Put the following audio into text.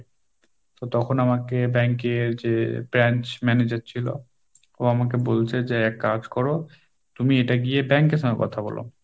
তো তখন আমাকে bank এর যে branch manager ছিল ও আমাকে বলছে যে এক কাজ করো তুমি এটা গিয়ে bank এর সঙ্গে কথা বলো।